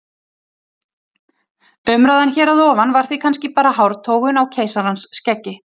Umræðan hér að ofan var því kannski bara hártogun á keisarans skeggi.